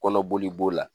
Kɔnɔboli b'o la